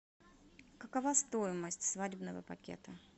какова стоимость свадебного пакета